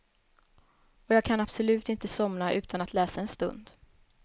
Och jag kan absolut inte somna utan att läsa en stund.